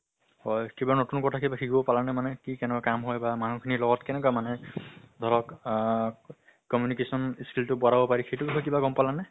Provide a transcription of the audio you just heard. হয়, কিবা নতুন কথা কিবা শিকিব পালানে মানে কি কেনেকুৱা কাম হয় বা মানুহ খিনিৰ লগত কেনেকুৱা মানে? ধৰক আহ communication skill টো বঢ়াব পাৰিছে, সেইটো বিষয়ে কিবা গম পালা নে?